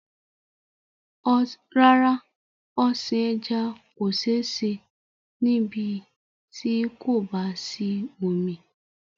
Rárá, ọ̀sìn ẹja kò sé se ní ibí tí kò bá sí omi